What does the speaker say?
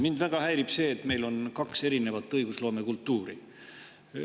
Mind väga häirib see, et meil on kaks erinevat õigusloome kultuuri.